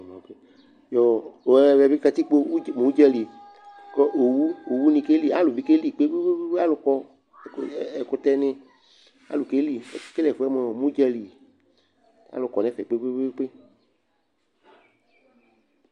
Yoo ɛ ɛmɛ bɩ katikpo mʋ ʋdza li kʋ owu, owunɩ keli, alʋ bɩ keli kpe-kpe-kpe, alʋkɔ Ɛkʋtɛnɩ, alʋ keli Ekele ɛfʋ yɛ mʋ ɔ ʋdza li kʋ alʋ kɔ nʋ ɛfɛ kpe-kpe-kpe